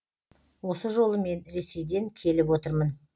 осы жолы мен ресейден келіп отырмын